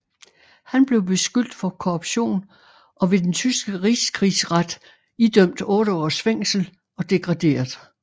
Han blev beskyldt for korruption og ved den tyske Rigskrigsret idømt otte års fængsel og degraderet